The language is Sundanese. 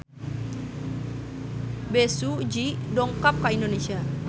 Bae Su Ji dongkap ka Indonesia